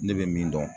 Ne bɛ min dɔn